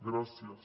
gràcies